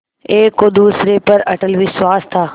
एक को दूसरे पर अटल विश्वास था